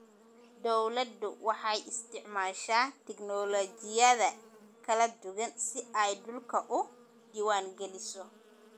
Dawladdu waxay isticmaashaa tignoolajiyada kala duwan si ay dhulka u diwaangeliso